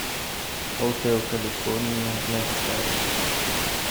отель калифорния на гитаре